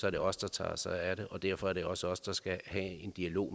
er det os der tager os af dem og derfor er det også os der skal have en dialog